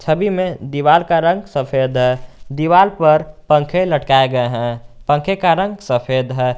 सभी में दीवार का रंग सफेद है दीवाल पर पंखे लटकाए गए हैं पंखे का रंग सफेद है।